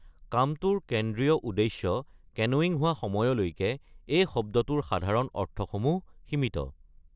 কামটোৰ কেন্দ্ৰীয় উদ্দেশ্য কেনোয়িং হোৱা সময়লৈকে এই শব্দটোৰ সাধাৰণ অৰ্থসমূহ সীমিত।